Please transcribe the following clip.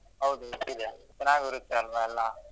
ಹೌದು ಚೆನ್ನಾಗೂ ಇರುತ್ತೆ ಅಲ್ವಾ ಎಲ್ಲ.